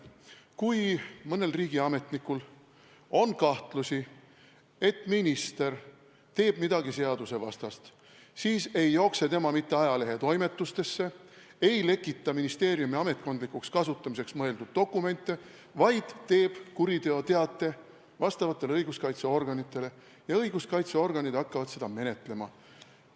Kui mõnel riigiametnikul on kahtlusi, et minister teeb midagi seadusevastast, siis ei jookse ta mitte ajalehetoimetustesse ega lekita ministeeriumi ametkondlikuks kasutamiseks mõeldud dokumente, vaid esitab kuriteoteate vastavatele õiguskaitseorganitele ja õiguskaitseorganid hakkavad seda menetlema.